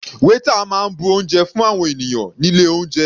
Waiter máa bu oúnjẹ fún àwọn ènìyàn nílé oúnjẹ.